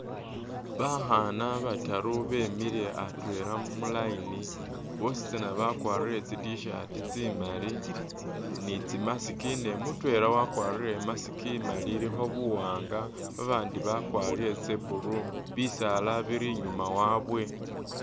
Bakhaana bataaru bemiile atwela mu line bositsana bakwarile tsi t-shirt tsi’maali ni tsi’mask ne mutwela wakwarile i’mask imaali ilikho buwaanga abandi bakwarire tsa blue , bisaala bili inyuma wawe.